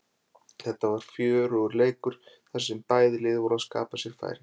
Þetta var fjörugur leikur þar sem bæði lið voru að skapa sér færi.